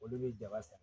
Olu bɛ jaba san